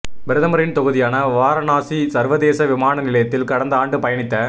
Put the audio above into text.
பிரதமரின் தொகுதியான வாரணாசி சர்வதேச விமான நிலையத்தில் கடந்த ஆண்டு பயணித்த